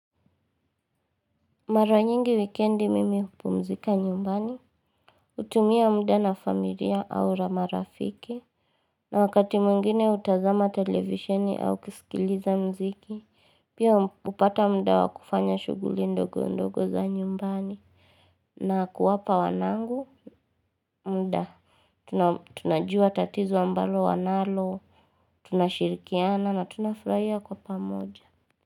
Mara nyingi wikendi mimi hupumzika nyumbani hutumia mda na familia au na marafiki. Na wakati mwengine hutazama televisheni au kisikiliza mziki. Pia hupata mda wa kufanya shughuli ndogo ndogo za nyumbani. Na kuwapa wanangu mda tunajua tatizo ambalo wanalo. Tunashirikiana na tunafurahia kwa pamoja.